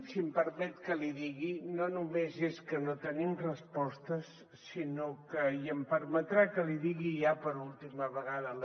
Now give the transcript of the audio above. si em permet que l’hi digui no només és que no tenim respostes sinó que i em permetrà que l’hi digui ja per última vegada